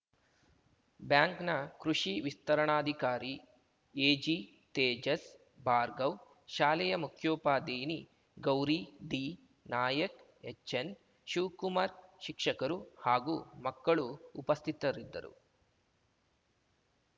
ಬ್ಯಾಂಕ್‌ನ ಕೃಷಿ ವಿಸ್ತರಣಾಧಿಕಾರಿ ಎಜಿ ತೇಜಸ್ ಭಾರ್ಗವ್‌ ಶಾಲೆಯ ಮುಖ್ಯೋಪಾಧ್ಯಾಯಿನಿ ಗೌರಿ ಡಿ ನಾಯಕ್‌ ಎಚ್‌ಎನ್‌ ಶಿವ್ ಕುಮಾರ್ ಶಿಕ್ಷಕರು ಹಾಗೂ ಮಕ್ಕಳು ಉಪಸ್ಥಿತರಿದ್ದರು